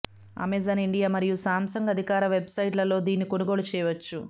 Amazon India మరియు Samsung అధికారిక website ల లో దీన్ని కొనుగోలు చేయవచ్చు